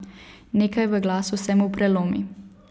Nekaj v glasu se mu prelomi.